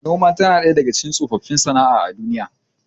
Noman tana ɗaya daga tsofin sana'a a duniya